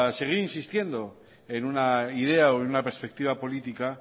seguir insistiendo en una idea o en una perspectiva política